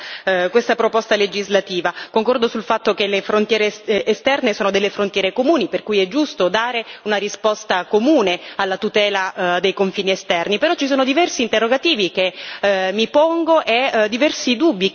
Concordo sul fatto che le frontiere esterne sono frontiere comuni, per cui è giusto dare una risposta comune alla tutela dei confini esterni, però ci sono diversi interrogativi che mi pongo e diversi dubbi che suscita questa proposta legislativa.